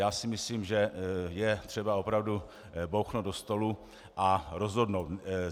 Já si myslím, že je třeba opravdu bouchnout do stolu a rozhodnout.